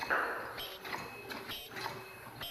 найди интересные клипы